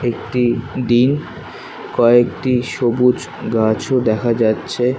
একটি ডিন কয়েকটি সবুজ গাছ-ও দেখা যাচ্ছে।